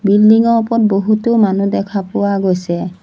Building ৰ ওপৰত বহুতো মানু্হ দেখা পোৱা গৈছে।